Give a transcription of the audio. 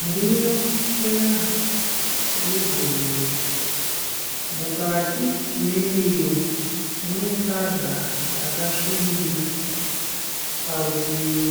Ndiro chena ye bhonzo. Mukati mendiro mune sadza rakasvibira. Parutivi